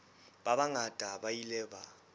ba bangata ba ile ba